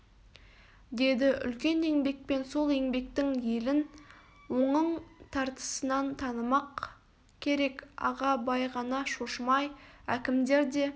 деді үлкен еңбекпен сол еңбектің елін оңың тартысынан танымақ керек аға бай ғана шошымай әкімдер де